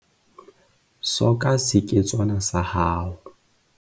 soka seketswana sa hao